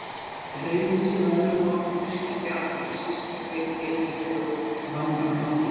Reiðin sé með öðrum orðum virkjandi afl, ekki síst hjá þeim yfirleitt eru vanmáttugir.